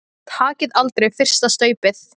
Takið aldrei fyrsta staupið!